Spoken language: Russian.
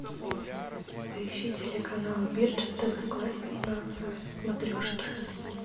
поищи телеканал бирдж тв классик на смотрешке